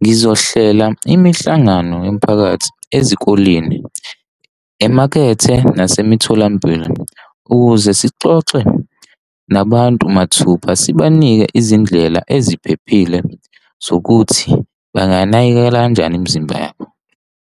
ngizohlela imihlangano yomphakathi ezikoleni emakethe nasemtholampilo ukuze sixoxe nabantu mathupha sibanike izindlela eziphephile zokuthi banganakekela kanjani imizimba yabo.